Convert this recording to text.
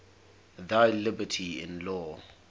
thy liberty in law